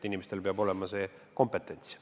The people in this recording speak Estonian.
Inimestel peab olema kompetents.